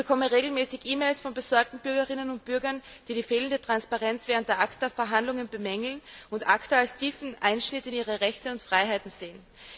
Ich bekomme regelmäßig E Mails von besorgten Bürgerinnen und Bürgern, die die fehlende Transparenz während der ACTA Verhandlungen bemängeln und ACTA als tiefen Einschnitt in ihre Rechte und Freiheiten sehen.